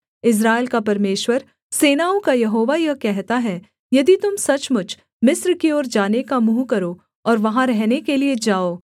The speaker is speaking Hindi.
इस्राएल का परमेश्वर सेनाओं का यहोवा यह कहता है यदि तुम सचमुच मिस्र की ओर जाने का मुँह करो और वहाँ रहने के लिये जाओ